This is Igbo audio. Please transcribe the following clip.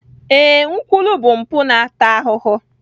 Ee, nkwulu bụ mpụ na-ata ahụhụ